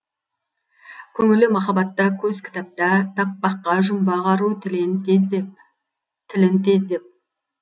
көңілі махаббатта көз кітапта таппаққа жұмбақ ару тілін тездеп